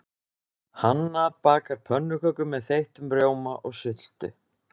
Hanna bakar pönnukökur með þeyttum rjóma og sultu.